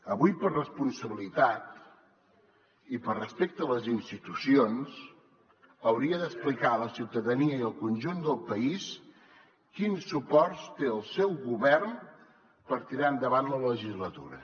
avui per responsabilitat i per respecte a les institucions hauria d’explicar a la ciutadania i al conjunt del país quins suports té el seu govern per tirar endavant la legislatura